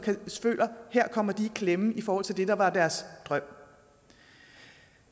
føler at her kommer de i klemme i forhold til det der var deres drøm